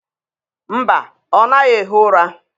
Mba, ọ naghị ehi ụra